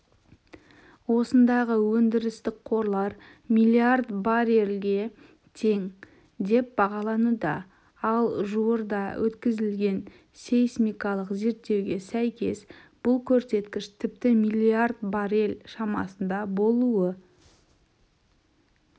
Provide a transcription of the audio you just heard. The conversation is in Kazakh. осындағы өндірістік қорлар миллиард баррельге тең деп бағалануда ал жуырда өткізілген сейсмикалық зерттеуге сәйкес бұл көрсеткіш тіпті миллиард баррель шамасында болуы